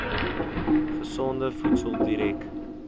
gesonde voedsel direk